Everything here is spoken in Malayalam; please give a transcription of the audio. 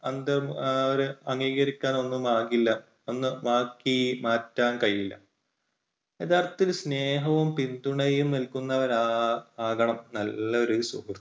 അത് എഹ് അംഗീകരിക്കാൻ ഒന്നും ആകില്ല. ഒന്നും ആക്കി മാറ്റാൻ കഴിയില്ല. യഥാർത്ഥത്തിൽ സ്നേഹവും പിന്തുണയും നൽകുന്നവരാ~ആകണം നല്ലൊരു സുഹൃത്ത്